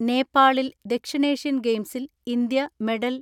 നേപ്പാളിൽ ദക്ഷിണേഷ്യൻ ഗെയിംസിൽ ഇന്ത്യ മെഡൽ